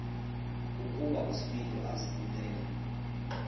ukuba uspido azibulale